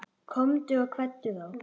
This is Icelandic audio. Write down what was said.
Komdu og kveddu þá.